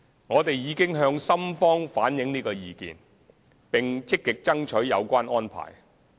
我們已向深方反映這個意見，並積極爭取有關安排。